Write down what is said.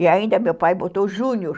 E ainda meu pai botou Júnior.